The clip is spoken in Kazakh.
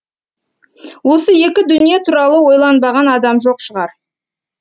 осы екі дүние туралы ойланбаған адам жоқ шығар